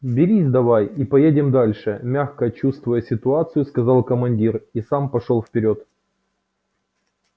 берись давай и поедем дальше мягко чувствуя ситуацию сказал командир и сам пошёл вперёд